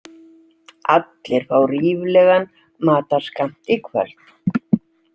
Allir fá ríflegan matarskammt í kvöld.